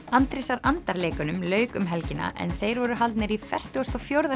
Andrésar andar leikunum lauk um helgina en þeir voru haldnir í fertugasta og fjórða